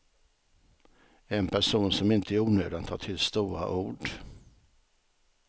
En person som inte i onödan tar till stora ord.